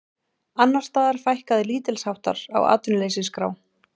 Annars staðar fækkaði lítilsháttar á atvinnuleysisskrá